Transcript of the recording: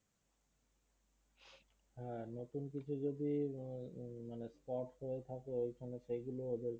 হ্যাঁ নতুন কিছু যদি হম হম মানে spot থাকে ওইখানে সেইগুলোও